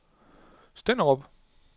Stenderup